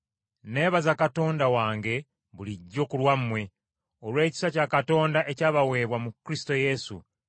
Nneebaza Katonda wange bulijjo ku lwammwe, olw’ekisa kya Katonda ekyabaweebwa mu Kristo Yesu,